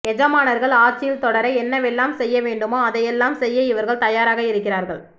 எஜமானர்கள் ஆட்சியில் தொடர என்னவெல்லாம் செய்யவேண்டுமோ அதையெல்லாம் செய்ய இவர்கள் தயாராக இருக்கிறார்கள்